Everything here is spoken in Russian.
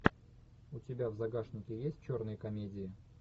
у тебя в загашнике есть черные комедии